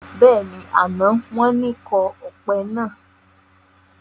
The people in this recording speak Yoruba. Bẹ́ẹ̀ni, àná wọn ni kọ́ ọpẹ náà.